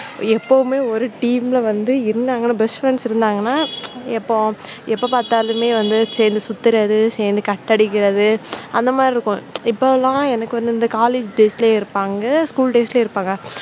எப்பவுமே வந்து ஒரு team ல வந்து இருந்தாங்கன்னா best friends இருந்தாங்கன்னா எப்போ எப்போ பார்த்தாலுமே வந்து சேர்ந்து சுத்துறது சேர்ந்து cut அடிக்கிறது அந்த மாதிரி இருக்கும் இப்ப எல்லாம் எனக்கு வந்து இந்த college days லேயும் இருப்பாங்க school days லேயும் இருப்பாங்க.